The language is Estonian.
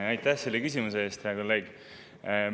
Aitäh selle küsimuse eest, hea kolleeg!